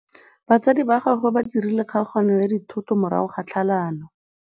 Batsadi ba gagwe ba dirile kgaoganyô ya dithoto morago ga tlhalanô.